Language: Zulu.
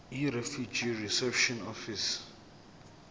yirefugee reception office